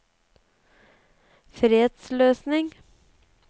fredsløsning